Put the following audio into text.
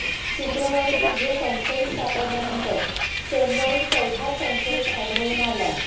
शुक्रवारी तिघे संशयीत सापडल्यानंतर सोमवारी चौथा संशयीत आढळून आला